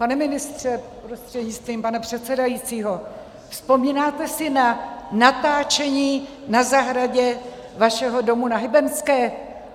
Pane ministře prostřednictvím pana předsedajícího, vzpomínáte si na natáčení na zahradě vašeho domu na Hybernské?